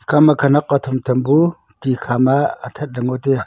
ekha khanak hu tham tham bu tik hama athat ley ngotaiaa